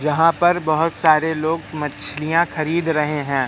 यहां पर बहुत सारे लोग मछलियां खरीद रहे हैं।